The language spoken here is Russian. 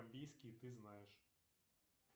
ты знаешь